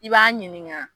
I b'a ɲininka